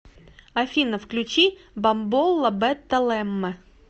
афина включи бамбола бетта лемме